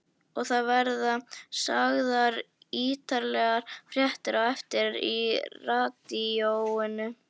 Og það verða sagðar ítarlegar fréttir á eftir í radíóinu.